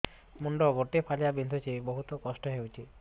ମୁଣ୍ଡ ଗୋଟେ ଫାଳିଆ ବିନ୍ଧୁଚି ବହୁତ କଷ୍ଟ ହଉଚି